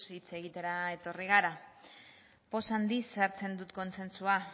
hitz egitera etorri gara poza handiz hartu dut kontsentsua